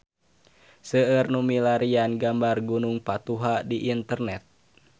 Seueur nu milarian gambar Gunung Patuha di internet